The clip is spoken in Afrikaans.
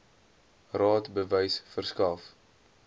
raad bewys verskaf